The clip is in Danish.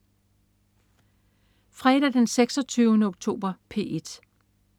Fredag den 26. oktober - P1: